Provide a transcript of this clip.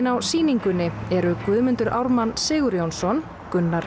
á sýningunni eru Guðmundur Ármann Sigurjónsson Gunnar